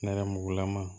Nɛrɛmugulama